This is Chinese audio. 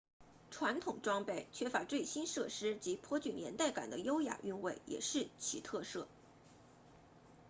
传统装备缺乏最新设施及颇具年代感的优雅韵味也是其特色